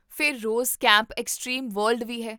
ਫਿਰ 'Rose camp extreme world' ਵੀ ਹੈ